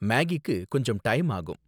மேகிக்கு கொஞ்சம் டைம் ஆகும்.